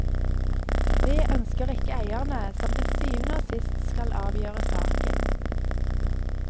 Det ønsker ikke eierne, som til syvende og sist skal avgjøre saken.